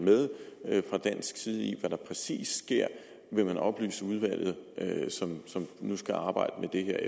fra dansk side med i hvad der præcis sker vil man oplyse udvalget som nu skal arbejde med det